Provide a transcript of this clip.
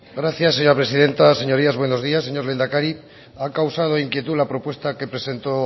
gracias señora presidenta señorías buenos días señor lehendakari ha causado inquietud la propuesta que presentó